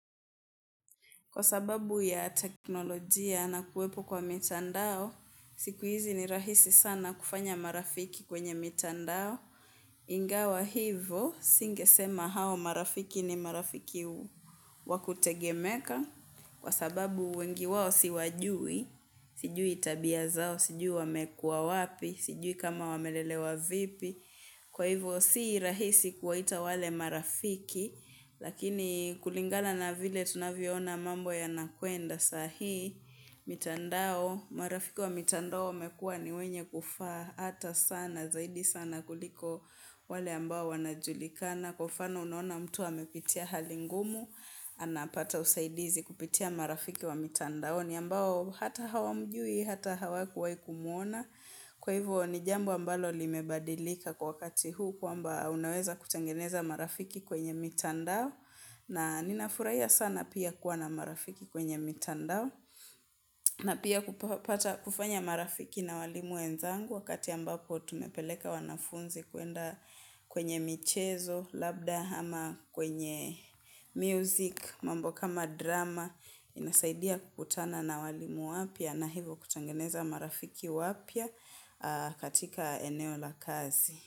Kwa sababu ya teknolojia na kuwepo kwa mitandao, siku hizi ni rahisi sana kufanya marafiki kwenye mitandao. Ingawa hivo, singesema hao marafiki ni marafiki wakutegemeka. Kwa sababu wengi wao si wajui, sijui tabia zao, sijui wamekua wapi, sijui kama wamelelewa vipi. Kwa hivyo si rahisi kuwaita wale marafiki, lakini kulingana na vile tunavyoona mambo ya nakwenda sahii, mitandao, marafiki wa mitandao wamekuwa ni wenye kufaa hata sana, zaidi sana kuliko wale ambao wanajulikana. Na kwa mfano unaona mtu amepitia hali ngumu anapata usaidizi kupitia marafiki wa mitandaoni ambao hata hawa mjui, hata hawakuwahi kumwona kwa hivyo ni jambo ambalo limebadilika kwa wakati huu kwamba unaweza kutengeneza marafiki kwenye mitandao na ninafurahia sana pia kuwa na marafiki kwenye mitandao na pia kufanya marafiki na walimu wenzangu wakati ambapo tumepeleka wanafunzi kwenda kwenye michezo labda ama kwenye music, mambo kama drama, inasaidia kukutana na walimu wapya na hivo kutengeneza marafiki wapya katika eneo la kazi.